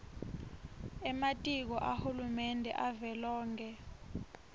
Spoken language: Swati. ematiko ahulumende avelonkhe